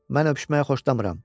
Mən öpüşməyi xoşlamıram.